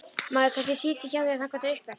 Má ég kannski sitja í hjá þér þangað upp eftir?